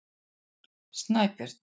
Snæbjörn